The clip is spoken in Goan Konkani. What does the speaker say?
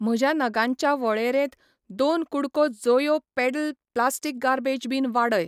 म्हज्या नगांच्या वळेरेंत दोन कु़डको जोयो पेडल प्लास्टीक गार्बेज बीन वाडय.